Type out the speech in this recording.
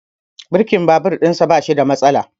Birkin babur ɗin sa bashi da matsala